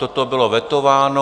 Toto bylo vetováno.